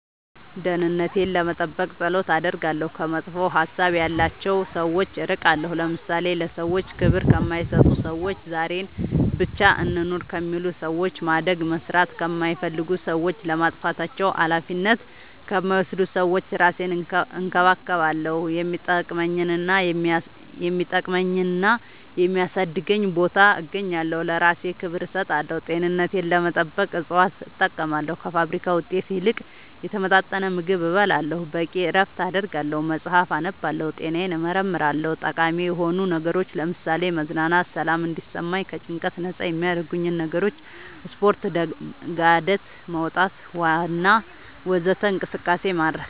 ደህንነቴን ለመጠበቅ ፀሎት አደርጋለሁ ከመጥፎ ሀሳብ ያላቸው ሰዎች እርቃለሁ ለምሳሌ ለሰዎች ክብር ከማይሰጡ ሰዎች ዛሬን ብቻ እንኑር ከሚሉ ሰዎች ማደግ መስራት ከማይፈልጉ ሰዎች ለጥፋታቸው አላፊነት ከማይወስዱ ሰዎች እራሴን እንከባከባለሁ የሚጠቅመኝና የሚያሳድገኝ ቦታ እገኛለሁ ለእራሴ ክብር እሰጣለሁ ጤንነቴን ለመጠበቅ እፅዋት እጠቀማለሁ ከፋብሪካ ውጤት ይልቅ የተመጣጠነ ምግብ እበላለሁ በቂ እረፍት አደርጋለሁ መፅአፍ አነባለሁ ጤናዬን እመረመራለሁ ጠቃሚ የሆኑ ነገሮች ለምሳሌ መዝናናት ሰላም እንዲሰማኝ ከጭንቀት ነፃ የሚያረጉኝ ነገሮች ስፓርት ጋደት መውጣት ዋና ወዘተ እንቅስቃሴ ማድረግ